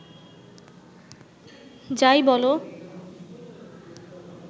যাই বলো